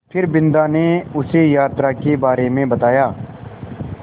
फिर बिन्दा ने उसे यात्रा के बारे में बताया